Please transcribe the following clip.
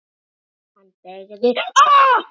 Hann beygði af.